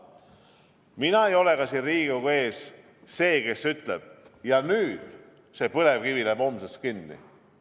Mina ei ole ka siin Riigikogu ees see, kes ütleb: ja nüüd see põlevkivi läheb homsest kinni.